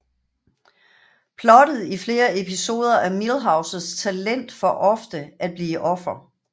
Plottet i flere episoder er Milhouses talent for ofte at blive offer